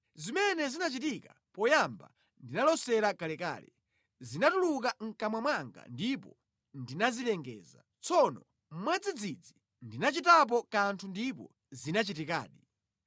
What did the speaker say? Zimene zinachitika poyamba ndinalosera kalekale, zinatuluka mʼkamwa mwanga ndipo ndinazilengeza; tsono mwadzidzidzi ndinachitapo kanthu ndipo zinachitikadi.